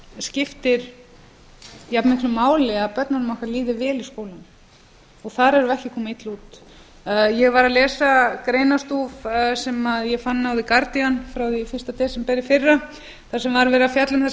skiptir jafn miklu máli að börnunum okkar líði vel í skólanum þar erum við ekki að koma illa út ég var að lesa greinarstúf sem ég fann á the guardian frá því fyrsta desember í fyrra þar sem var verið að fjalla um